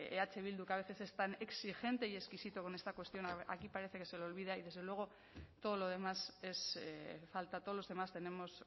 eh bildu que a veces están exigente y exquisito con esta cuestión aquí parece que se le olvida y desde luego todo lo demás es falta todos los demás tenemos